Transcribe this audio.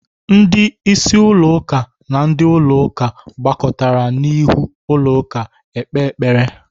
Ndị isi ụlọ ụka na ndị ụlọ ụka gbakọrọtara n'ihu ụlọ ụka ekpe ekpere.